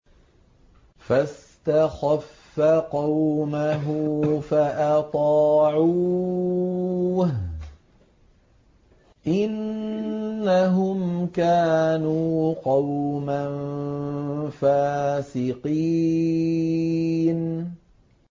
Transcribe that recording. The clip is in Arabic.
فَاسْتَخَفَّ قَوْمَهُ فَأَطَاعُوهُ ۚ إِنَّهُمْ كَانُوا قَوْمًا فَاسِقِينَ